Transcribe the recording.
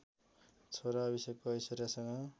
छोरा अभिषेकको ऐश्वर्यासँग